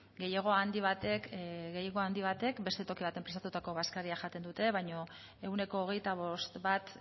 gehiengo handi batek beste toki batean prestatutako bazkaria jaten dute baino ehuneko hogeita bost bat